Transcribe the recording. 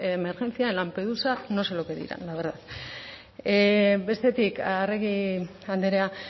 emergencia en lampedusa no sé lo que dirán la verdad bestetik arregi andrea